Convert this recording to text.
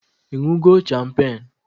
Ịñụgo champagne?